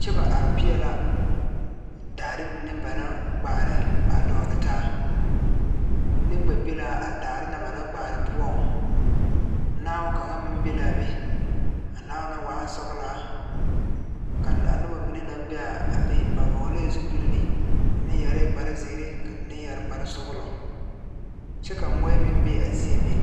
kyɛ ba are peɛɛl la daare mine ba naŋ kpaare a dɔgle taa vūūne kpɛ be la a daare na banaŋ kaare poɔŋ naao kaŋa meŋ be laa be a naao na waa sɔglaa ka a nobɔ mine naŋ be a be ba vɔglɛɛ zupile mine yɛrɛɛ kparezeere mine yɛre kparesɔglɔ kyɛ ka moɔɛ meŋ be a zie meŋ.